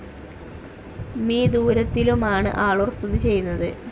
മി ദൂരത്തിലുമാണ് ആളൂർ സ്ഥിതി ചെയ്യുന്നത്.